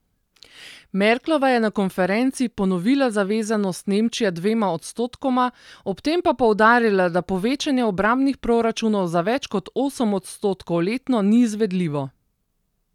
Merklova je na konferenci ponovila zavezanost Nemčije dvema odstotkoma, ob tem pa poudarila, da povečanje obrambnih proračunov za več kot osem odstotkov letno ni izvedljivo.